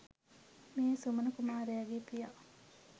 මේ සුමන කුමාරයාගේ පියා